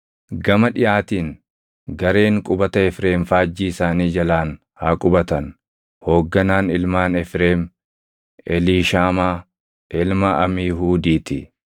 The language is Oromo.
Gama dhiʼaatiin gareen qubata Efreem faajjii isaanii jalaan haa qubatan. Hoogganaan ilmaan Efreem Eliishaamaa ilma Amiihuudii ti.